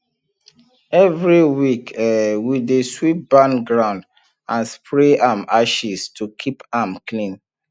every week um we dey sweep barn ground and spray am ashes to keep am clean